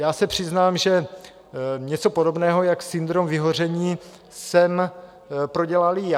Já se přiznám, že něco podobného jako syndrom vyhoření jsem prodělal i já.